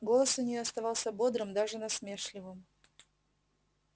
голос у нее оставался бодрым даже насмешливым